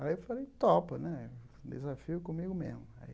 Aí eu falei, topa né, desafio é comigo mesmo.